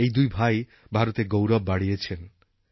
এই দুই ভাই ভারতের গৌরব বাড়িয়েছেন